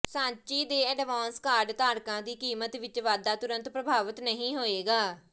ਸਾਂਚੀ ਦੇ advance card ਧਾਰਕਾਂ ਦੀ ਕੀਮਤ ਵਿਚ ਵਾਧਾ ਤੁਰੰਤ ਪ੍ਰਭਾਵਤ ਨਹੀਂ ਹੋਏਗਾ